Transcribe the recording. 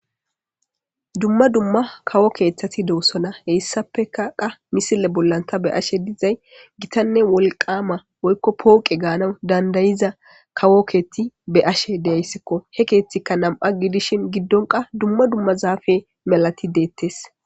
dumma dumma kawo keeththati doosona.heyssappekaqa misile bollan ta beyashe dizay gitanne wolqama woykko pooqe gaanaw dandayiza kawo keeti beyashe de'iyayskko he keeththikka nam"a gidishin giddon qa dumma dumma zaafe melati deettes.